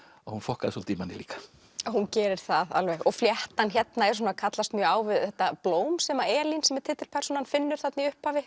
að hún fokkaði svolítið í manni líka hún gerir það alveg og fléttan hérna kallast mjög á við blóm sem Elín sem er titilpersónan finnur þarna í upphafi